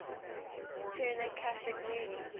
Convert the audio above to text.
turner classic movies